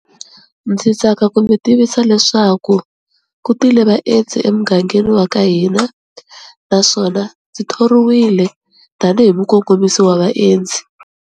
Ndzi tsaka ku mi tivisa leswaku ku tile vaendzi emugangeni wa ka hina, naswona ndzi thoriwile tanihi mukongomisi wa vaendzi.